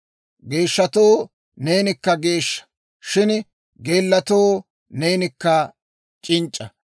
Geeshshatoo neenikka geeshsha; shin geellatoo neeni c'inc'c'a.